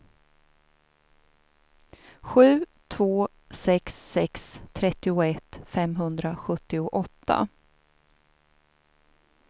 sju två sex sex trettioett femhundrasjuttioåtta